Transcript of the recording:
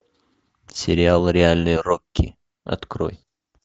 сериал реальный рокки открой